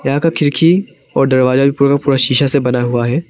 यहां का खिड़की और दरवाजा भी पूरा का पूरा शीशा से बना हुआ है।